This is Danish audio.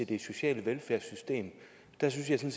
det sociale velfærdssystem der synes jeg